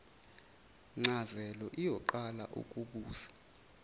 ncazelo iyoqala ukubusa